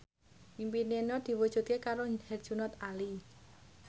impine Nur diwujudke karo Herjunot Ali